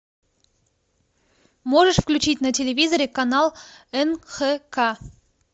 можешь включить на телевизоре канал нхк